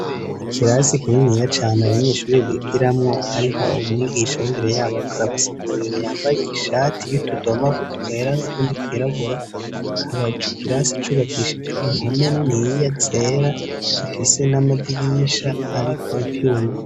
Ikirasi kininiya cane abanyeshuri bigiramwo; hariho umwigisha imbere yabo ariko arabasigurira; yambaye ishati y'utudomagu twera n' utundi twirabura. Akaba ico kirasi cubakishijwe impome niniya zera, zifise n'amadirisha ariko ivyuma.